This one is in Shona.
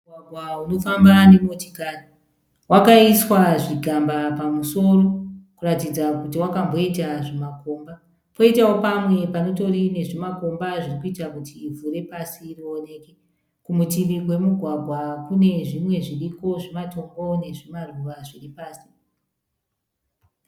Mugwagwa unofamba nemotikari. Wakaiswa zvigamba pamusoro kuratidza kuti wakamboita zvimakomba. Poitawo pamwe panotori nezvimakomba zvirikuita kuti ivhu repasi rioneke. Kumutivi kwemugwagwa kune zvimwe zviriko zvimatombo nezvimaruva zviri pasi.